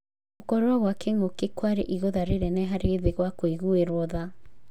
Gũkorwo gwa kĩng'ũki kwarĩ igũtha rĩnene harĩ thĩ gwa kũigũĩrwo tha.